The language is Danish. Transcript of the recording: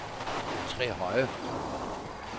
Trehøje